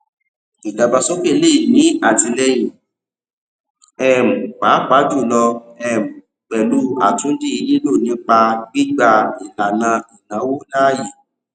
ìdàgbàsókè le è ní àtìlẹyìn um pàápàá jùlọ um pẹlú àtúndì lilọ nípa gbígbà ìlànà ìnáwó láàyè